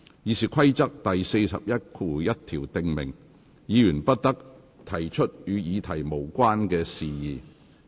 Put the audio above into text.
《議事規則》第411條訂明，議員不得提出與議題無關的事宜。